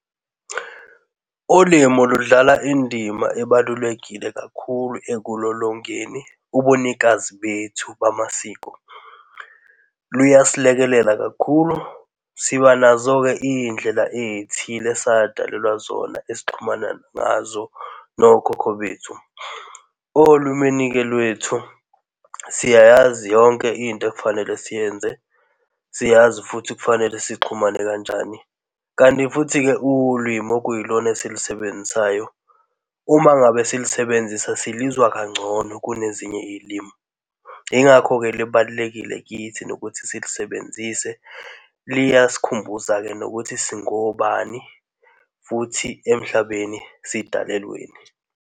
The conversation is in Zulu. Ulimu ludlala indima ebalulekile kakhulu ekulolongeni ubunikazi bethu bamasiko. Luyasilekelela kakhulu. Siba nazo-ke izindlela ezithile esadalelwa zona esixhumana ngazo nokhokho bethu. Olimini-ke lwethu siyayazi yonke into ekufanele siyenze. Siyazi futhi kufanele sixhumane kanjani. Kanti futhi-ke ulwimi okuyilona esilisebenzisayo uma ngabe silisebenzisa silinzwa kangcono kunezinye izilimi, yingakho-ke libalulekile kithi nokuthi silisebenzise. Liya sikhumbuza-ke nokuthi singobani futhi emhlabeni sidalelweni.